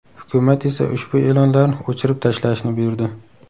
Hukumat esa ushbu e’lonlarni o‘chirib tashlashni buyurdi.